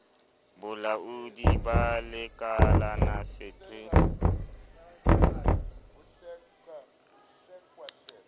bolaoding ba lekalala fet re